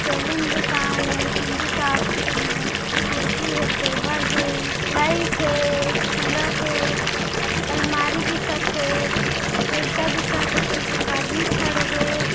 Salon दूकान ए चुंदी काटथे इहा ल कुर्सी हे टेबल हे लाइट हे कूलर हे अलमारी दिखत हे फिइरका दिखत हे अति झक आदमी खड़े हे।